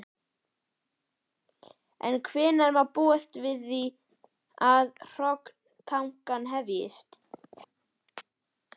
En hvenær má búast við því að hrognatakan hefjist?